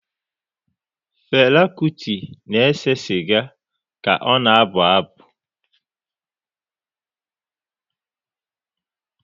Fela Kuti na-ese sịga ka ọ na-abụ abụ.